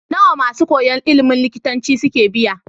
Nawa masu koyan ilimin likitanci suke biya?